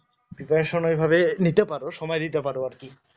preparation ওই ভাবে নিতে পারো সময় দিতে পারো আরকি